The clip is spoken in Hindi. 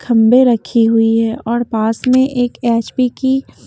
खंबे रखी हुई है और पास में एक एचपी की--